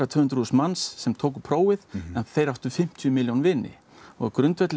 tvö hundruð þúsund manns sem tóku prófið en þeir áttu fimmtíu milljón vini á grundvelli